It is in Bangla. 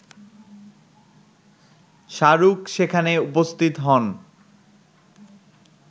শাহরুখ সেখানে উপস্থিত হন